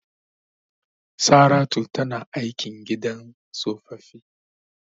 Saratu tana aiki a gidan tsofaffi.